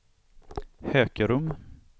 Hökerum